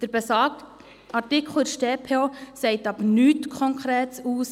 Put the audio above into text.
Der besagte Artikel der StPO sagt in dieser Hinsicht jedoch nichts Konkretes aus.